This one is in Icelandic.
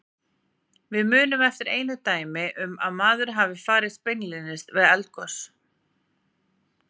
Við munum eftir einu dæmi um að maður hafi farist beinlínis við eldgos.